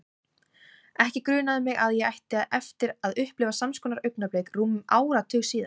Ekki grunaði mig að ég ætti eftir að upplifa sams konar augnablik rúmum áratug síðar.